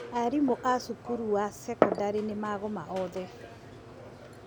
Arimũ a cukuru ya cekondarĩ nĩ magoma othe.